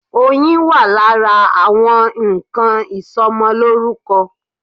Oyin wà lára àwọn nnkan ìsọmọlórúkọ.